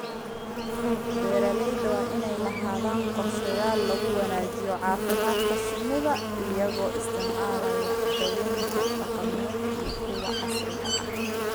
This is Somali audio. Beeralayda waa inay lahaadaan qorshayaal lagu wanaajinayo caafimaadka shinnida iyagoo isticmaalaya daawaynta dhaqameed iyo kuwa casriga ah.